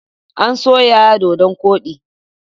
An soya dodon koɗi.